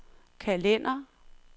kalender